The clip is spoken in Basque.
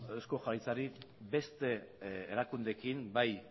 eusko jaurlaritzari beste erakundeekin bai